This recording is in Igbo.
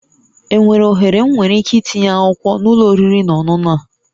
Enwere ohere m nwere ike itinye akwụkwọ na ụlọ oriri na ọṅụṅụ a?